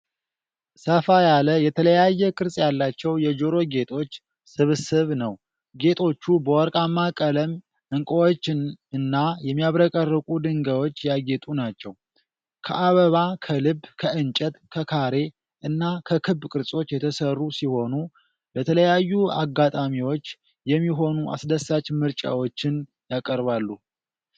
ሰፋ ያለ የተለያየ ቅርጽ ያላቸው የጆሮ ጌጦች ስብስብ ነው። ጌጦቹ በወርቃማ ቀለም፣ ዕንቁዎች እና የሚያብረቀርቁ ድንጋዮች ያጌጡ ናቸው። ከአበባ፣ ከልብ፣ ከዕንጨት፣ ከካሬ እና ከክብ ቅርጾች የተሠሩ ሲሆኑ፣ ለተለያዩ አጋጣሚዎች የሚሆኑ አስደሳች ምርጫዎችን ያቀርባሉ።